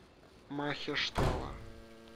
махештала